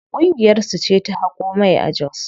Ƙungiyar su ce ta haƙo mai a jos.